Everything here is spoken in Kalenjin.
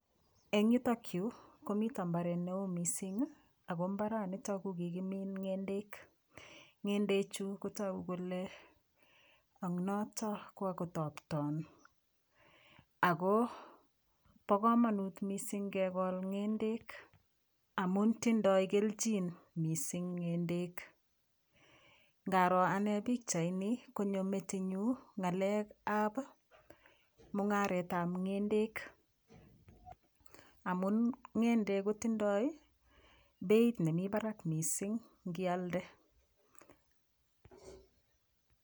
Eng yutokyu komito mbaret neoo mising ako mbaranito kokikimiin ng'endek ngendechu kotoku kole ong'noto kokotopton ako bo komonut mising kekol ng'endek amun tindoi keljin mising ng'endek ngaro ane pikchaini konyo metinyu ngalek ab mung'aret ab ng'endek amun ng'endek kotindoi beit nemi barak mising kialde